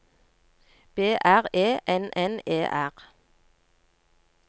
B R E N N E R